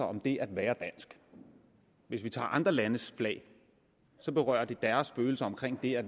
om det at være dansk hvis vi tager andre landes flag så berører det deres følelser omkring det at